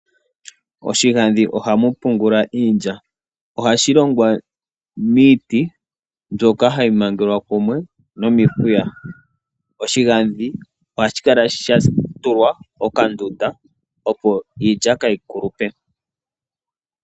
Oshigandhi ohamu pungulwa iilya, ohashi longwa miiti mbyoka hayi mangelwa kumwe nomihuya. Oshigandhi ohashi kala sha tulwa okandunda opo iilya kaayi kulupe.